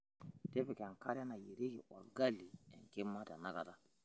tipika enkare nayierieki olgali enkima tenakata